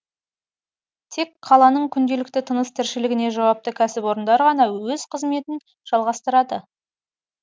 тек қаланың күнделікті тыныс тіршілігіне жауапты кәсіпорындар ғана өз қызметін жалғастырады